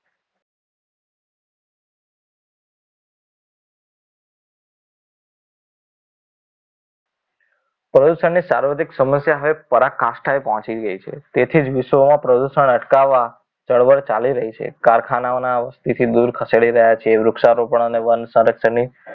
પ્રદુષણની સાર્વજનિક સાર્વજનિક સમસ્યા હવે પરાકાષ્ઠાએ પહોંચી ગઈ છે તેથી જ વિશ્વમાં પ્રદૂષણ અટકાવવા ચળવળ ચાલી રહી છે કારખાનાઓના city થી દૂર ખસેડી રહ્યા છીએ વૃક્ષારોપણ અને વન સંરક્ષણની